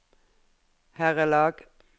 herrelag